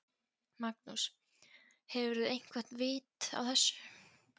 Magnús: Hefurðu eitthvað vit á þessu?